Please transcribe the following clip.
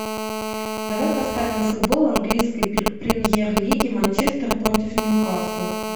давай поставим футбол английской премьер лиги манчестер против ньюкасла